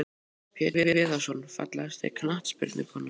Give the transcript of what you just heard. Pétur Viðarsson Fallegasta knattspyrnukonan?